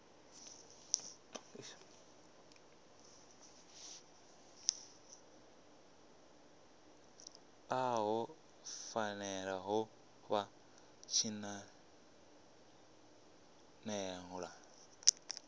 ḽo fhelela ha vha tshinanḓala